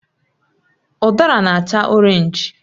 Udara na acha Orénj